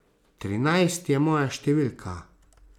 Trinajst je moja številka.